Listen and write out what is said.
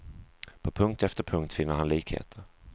På punkt efter punkt finner han likheter.